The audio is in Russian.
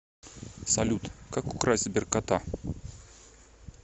салют как украсть сберкота